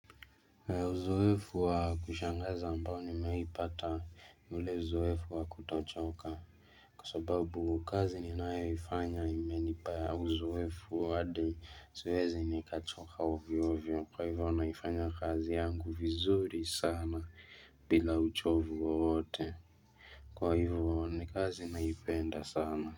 Uzoefu wa kushanga za ambao ni mewahipata ni ule uzoefu wa kutochoka Kwa sababu ukazi ninayoifanya ime nipa uzoefu wa hadi siwezi nikachoka ovyo ovyo kwa hivyo naifanya kazi yangu vizuri sana bila uchovu wowote kwa hivyo ni kazi naipenda sana.